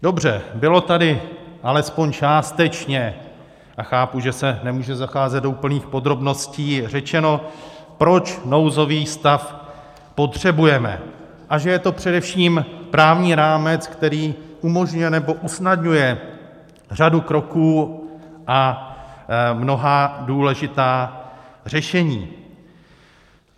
Dobře, bylo tady alespoň částečně, a chápu, že se nemůže zacházet do úplných podrobností, řečeno, proč nouzový stav potřebujeme a že je to především právní rámec, který umožňuje nebo usnadňuje řadu kroků a mnohá důležitá řešení.